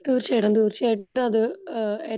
തീർച്ചയായിട്ടും തീർച്ചയായിട്ടും അത്